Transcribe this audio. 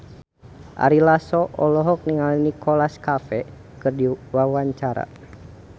Ari Lasso olohok ningali Nicholas Cafe keur diwawancara